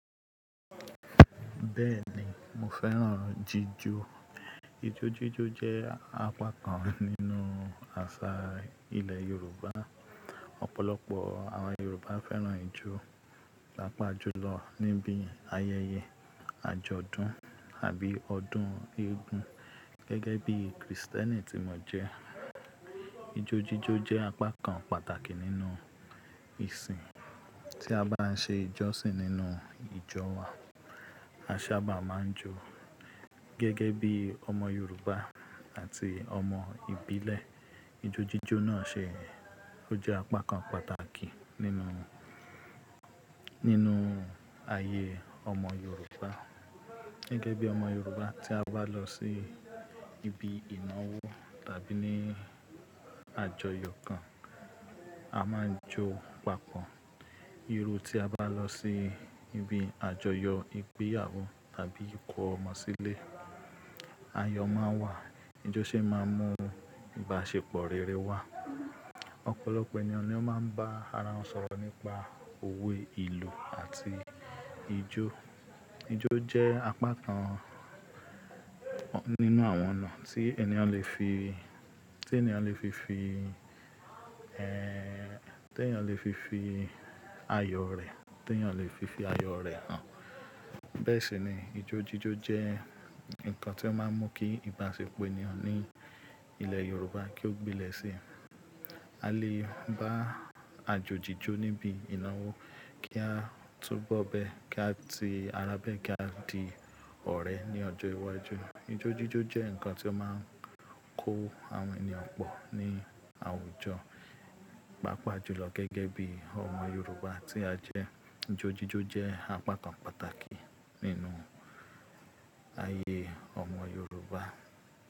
Bẹ́ẹ̀ni mo fẹ́ràn jíjó. Ijójíjó jẹ́ apá kan nínú àṣà ilẹ̀ Yorùbá. Ọ̀pọ̀lọpọ̀ àwọn Yorùbá fẹ́ràn ijó, pàápàá jùlọ níbi ayẹyẹ àjọ̀dún àbí ọdún eégún. Gege bi kristẹ́ni ti mo je ijo jijo je apakan pataki ninu isin ti aba nse ijosin ninu ijo wa asaba man jo Gẹ́gẹ́ bí ọmọ Yorùbá àti ọmọ ìbílẹ̀, ijójíjó náà ṣe ó jẹ́ apá kan pàtàkì nínú, nínú ayé ọmọ Yorùbá. Gege bi omo yoruba ti aba lo si inawo tabi ajỌ̀yỌ̀ kan a ma n jo papọ̀ iru ti a ba lo si ibi àjọyọ̀ igbeyawo tabi iko ọ̀mọ si ile ayọ maa n wa o si ma mu ibasepọ rere wa ọ̀pọ̀lọ̀pọ̀ eniyan lo ba ara wọ̀n sọ̀rọ̀ nipa owe ilu ati ijo ijó je apakan ninu awọ̀n oun ti eniyan le fi fi ti eyan le fi fi ayọ̀ re han be si ni Ijó ji jo je inkan ti o ma n mu ki ibasepọ̀ eniyan ni ilẹ́ yoruba ko gbilẹ́ si a le ba ajoji jo nibi inawo ki a tun bo bẹ́ ki ati ara bẹ́ ki a di ọ̀rẹ́ ní ọjọ́ iwájú. Ijójíjó jẹ́ ǹkan tí ó máa ń kó àwọn ènìyàn pọ̀ ní àwùjọ, pàápàá jùlọ gẹ́gẹ́ bí ọmọ Yorùbá tí a jẹ́. Ijójíjó jẹ́ apá kan pàtàkì nínú ayé ọmọ Yorùbá.